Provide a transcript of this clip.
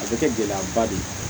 A bɛ kɛ gɛlɛyaba de ye